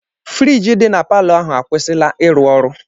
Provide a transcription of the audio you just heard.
Friiji dị na palọ ahụ akwụsịla ịrụ ọrụ.